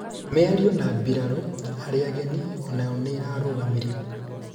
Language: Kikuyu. mĩario na mbirarũ aria ageni onayo nĩ ĩrarũgamirio